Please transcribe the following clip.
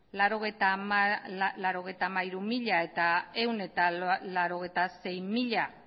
laurogeita hamairu mila eta ehun eta laurogeita sei mila